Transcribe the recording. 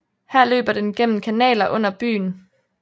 Her løber den gennem kanaler under byen